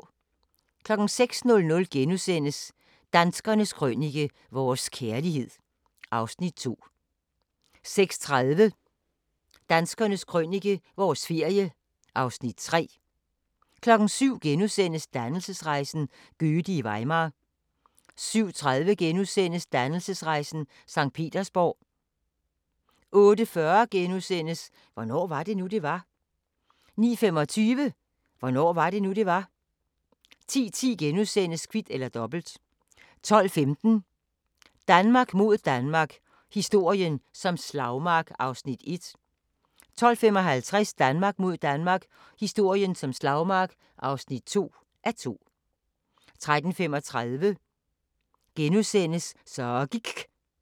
06:00: Danskernes Krønike - vores kærlighed (Afs. 2)* 06:30: Danskernes Krønike – vores ferie (Afs. 3) 07:00: Dannelsesrejsen – Goethe i Weimar * 07:30: Dannelsesrejsen – Sankt Petersborg * 08:40: Hvornår var det nu, det var? * 09:25: Hvornår var det nu, det var? 10:10: Kvit eller Dobbelt * 12:15: Danmark mod Danmark – historien som slagmark (1:2) 12:55: Danmark mod Danmark – historien som slagmark (2:2) 13:35: Så gIKK' *